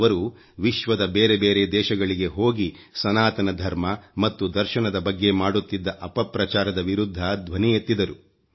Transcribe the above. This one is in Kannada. ಅವರು ವಿಶ್ವದ ಬೇರೆ ಬೇರೆ ದೇಶಗಳಿಗೆ ಹೋಗಿ ಸನಾತನ ಧರ್ಮ ಮತ್ತು ದರ್ಶನದ ಬಗ್ಗೆ ಮಾಡುತ್ತಿದ್ದ ಅಪಪ್ರಚಾರದ ವಿರುಧ್ಧ ಧ್ವನಿ ಎತ್ತಿದರು